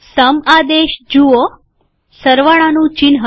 સમ આદેશ જુઓસરવાળાનું ચિહ્ન